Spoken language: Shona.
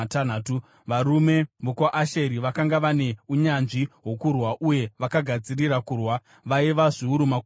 varume vokwaAsheri, vakanga vane unyanzvi hwokurwa uye vakagadzirira kurwa, vaiva zviuru makumi mana;